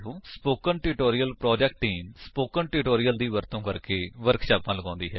spoken tutorial project team spoken tutorials ਦੀ ਵਰਤੋ ਕਰਕੇ ਵਰਕਸ਼ਾਪਾਂ ਲਗਾਉਂਦੀ ਹੈ